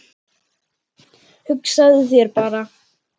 Hugsaðu þér bara!